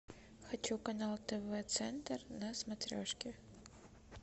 хочу канал тв центр на смотрешке